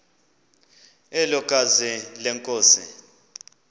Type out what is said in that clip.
elo gazi lenkosi